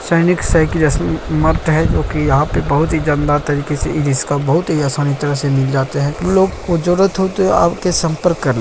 Chinese साइकिलें है जो की यहाँ पे बहुत ही जानदार तरीके से इसका बहुत ही आसानी तरह से मिल जाते हैं | उनलोग को जरूरत हो तो आपसे संपर्क कर लें ।